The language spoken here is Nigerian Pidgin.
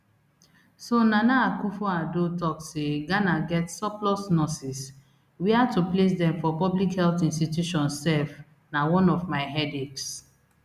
so nana akufoaddo tok say ghana get surplus nurses wia to place dem for public health institutions sef na one of my headaches